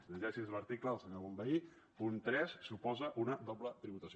llegeixi’s l’article del senyor bonvehí punt tres suposa una doble tributació